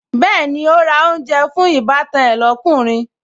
Bẹ́ẹ̀ni, ó ra oúnjẹ fún ìbátan ẹ lókùnrin